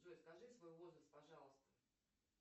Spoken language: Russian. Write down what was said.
джой скажи свой возраст пожалуйста